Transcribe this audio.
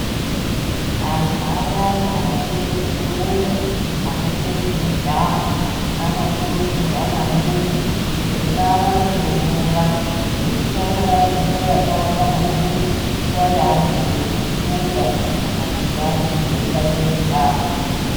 Antu ayani anoite zvekurumba, anoite zvemujaho, anokurudzirwa maningi kuti ngaawanze mvura ngekuti anorashe mvura yakawanda maningi, nguva yeanenge eirumba kana kuti yeanenge eitambe mujaho.